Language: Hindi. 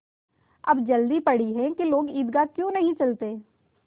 अब जल्दी पड़ी है कि लोग ईदगाह क्यों नहीं चलते